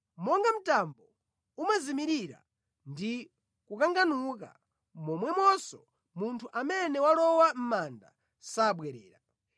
Monga mtambo umazimirira ndi kukanganuka, momwemonso munthu amene walowa mʼmanda sabwerera.